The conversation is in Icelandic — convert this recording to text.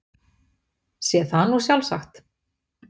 Sé það nú sjálfsagt.